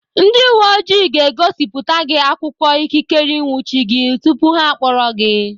Ndị uwe ojii ga-egosipụta gị akwụkwọ ikikere ịnwụchi gị tupu ha akpọrọ gị.